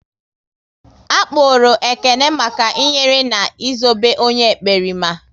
A kpụrụru Ekene maka i nyere na Ị zobe onye ekperima